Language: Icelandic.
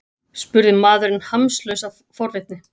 spurði maðurinn hamslaus af forvitni.